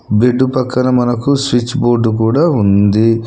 Bed పక్కన మనకు switchboard కూడా ఉంది.